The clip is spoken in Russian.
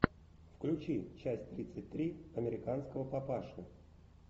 включи часть тридцать три американского папаши